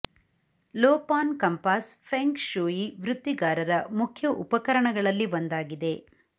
low pan compass feng shui ವೃತ್ತಿಗಾರರ ಮುಖ್ಯ ಉಪಕರಣಗಳಲ್ಲಿ ಒಂದಾಗಿದೆ